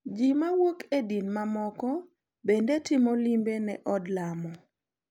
Ji mawuok e din mamoko bende timo limbe ne od lamo.